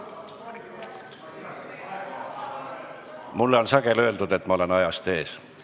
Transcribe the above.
Mulle on sageli öeldud, et ma olen ajast ees.